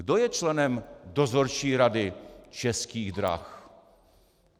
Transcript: Kdo je členem Dozorčí rady Českých drah?